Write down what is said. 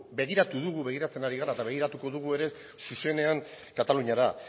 begiratu dugu begiratzen ari gara eta begiratuko dugu ere zuzenean kataluniara